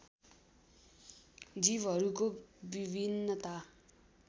जीवहरूको विभिन्नता